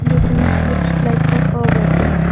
this image looks like of our wedding.